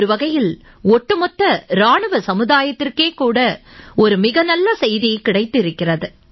ஒரு வகையில் ஒட்டுமொத்த இராணுவ சமுதாயத்துக்கே கூட ஒரு மிக நல்ல செய்தி கிடைத்திருக்கிறது